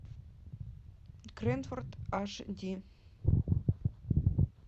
кренфорд аш ди